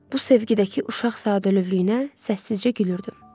Bu sevgi də ki, uşaq sadəlövhlüyünə səssizcə gülürdüm.